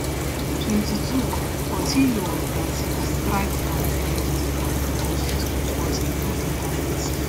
twenty-two portilho of brazi strike from di left post but e no enta net